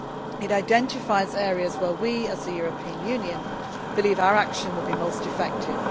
It identifies areas where we as the European Union believe our action will be most effective.